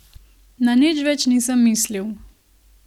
Na nič več nisem mislil.